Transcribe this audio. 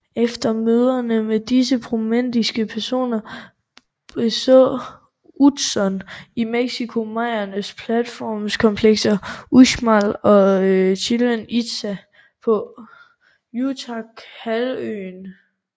Efter møderne med disse prominente personer beså Utzon i Mexico mayaernes platformkomplekser Uxmal og Chichen Itza på Yucatánhalvøen